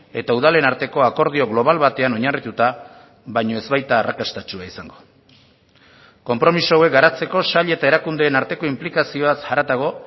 eta udalen arteko akordio global batean oinarrituta baino ez baita arrakastatsua izango konpromiso hauek garatzeko sail eta erakundeen arteko inplikazioaz haratago